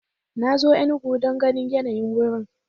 Na zo Enugu don ganin yanayi wurin.